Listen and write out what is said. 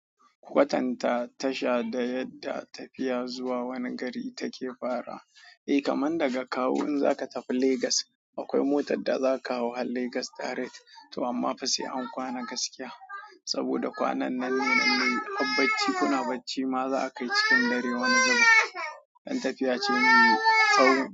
Watan ta, tasha da yadda tafiya zuwa wani gari take fara. Eh kaman daga kawo in zaka tafi Legas, akwai motar da zaka hau har Legas direct to amma fa sai an kwana gaskiya. Saboda kwanan nan ne nan ne habbacci kuna bacci ma za a kai cikin dare wani zubin. Dan tafiya ce mai tsawo.